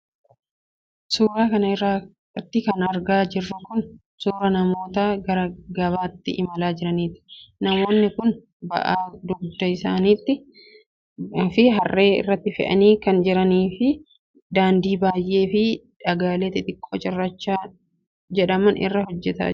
Suura kana irratti kan argaa jirru kun, suura namoota gara gabaatti imalaa jiraniiti. Namoonni kun, ba'aa dugda isaanitti fi har'ee irratti fe'anii kan jiran yoo ta'u, daandii biyyee fi dhagaalee xixiqqoo cirracha jedhaman irraa hojjatame irra adeemaa jru.